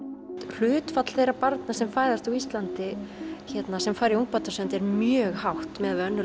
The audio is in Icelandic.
hlutfall þeirra barna sem fæðast á Íslandi sem fara í ungbarnasund er mjög hátt miðað við önnur